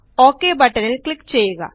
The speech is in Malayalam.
ഒക് ബട്ടണിൽ ക്ലിക്ക് ചെയ്യുക